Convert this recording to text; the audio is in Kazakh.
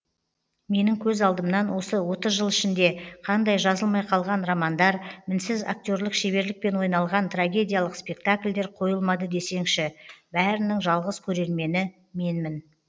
менің көз алдымнан осы отыз жыл ішінде қандай жазылмай қалған романдар мінсіз акте рлік шеберлікпен ойналған трагедиялық спектакльдер қойылмады десеңші бәрінің жалғыз көрермені менмін